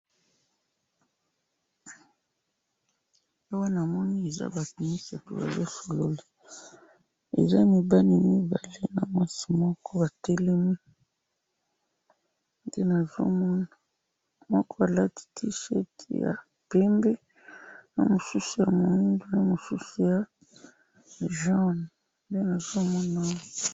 Awa na moni batu misatu bazo solola, mibali mibale na mwasi moko. moko alati mupila ya pembe mususu mosaka na mususu moindo.